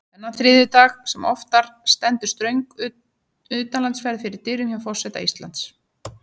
Þennan þriðjudag sem oftar stendur ströng utanlandsferð fyrir dyrum hjá forseta Íslands.